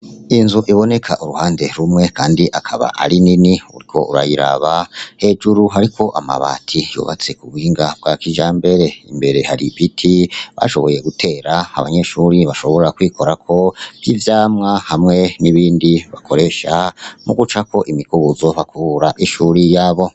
Inzu iboneka uruhande rumw kandi akaba ari nini, uriko urayiraba hejuru hariko amabati yubatse ku buhinga bwa kijambere, imbere hari ibiti bashoboye gutera, abanyeshuri bashobora kwikorako nk'ivyamwa hamwe n'ibindi bakoresha mu gucako imikubuzo bakubura ishuri yabo.